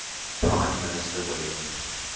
prime minister william